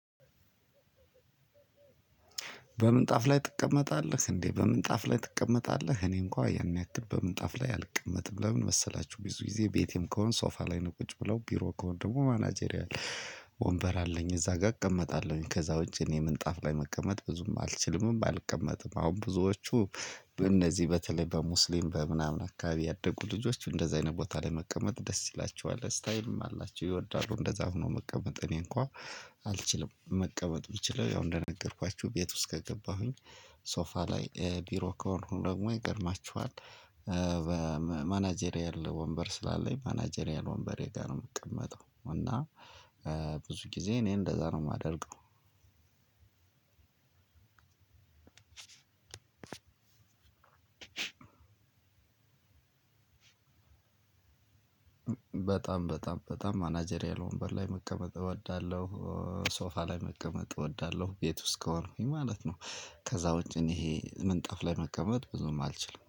በምንጣፍ ላይ ትቀመጣለህ? እንዴ በምን ጣፍ ላይ ትቀመጣለህ? እኔ እንኳን ያን ያክል በምንጣፍ ላይ አልቀመጥም። ለምን መሰላችሁ ብዙ ጊዜ ቤቴም ከሆንኩ ሶፋ ላይ ነው ቁጭ ምለው። ቢሮ ከሆንኩ ደግሞ ማናጀሪያ ወንበር አለኝ። እዛ ጋር እቀመጣለሁኝ። ከዛ ውጪ እኔ ምንጣፍ ላይ መቀመጥ ብዙም አልችልም፣ አልቀመጥም። አሁን ብዙዎቹ እነዚህ በተለይ በሙስሊም በምናምን አካባቢ ያደጉ ልጆች እንደዚህ አይነት ቦታ ላይ መቀመጥ ደስ ይላችኋል። ስታይም አላቸው፣ ይወዳሉ እንደዛ ሆኖ መቀመጥ። እኔ እንኳን አልችልም፣ መቀመጥ ብችለው ያው እንደነገርኳችሁ ቤት ውስጥ ከገባሁኝ ሶፋ ላይ፣ ቢሮ ከሆኑ ደግሞ ይገርማችኋል፣ በማናጀሪያል ወንበር ስላለኝ፣ ማናጀሪያል ወንበሬ ጋር ነው የምቀመጠው። እና ብዙ ጊዜ እኔ እንደዛ ነው የማደርገው በጣም፣ በጣም። በጣም ማናጀሪያል ወንበር ላይ መቀመጥ እወዳለሁ። ሶፋ ላይ መቀመጥ እወዳለሁ። ቤት ውስጥ ከሆንኩኝ ማለት ነው። ከዛ ውጪ እኔ ይሄ ምንጣፍ ላይ መቀመጥ ብዙም አልችልም።